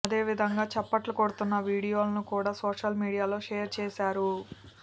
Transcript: అదేవిధంగా చప్పట్లు కొడుతున్న వీడియోలను కూడా సోషల్ మీడియాలో షేర్ చేశారు